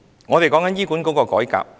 我們在談論醫管局改革。